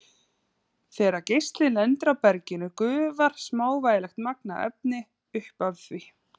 Þegar geislinn lendir á berginu gufar smávægilegt magn af efni upp af því.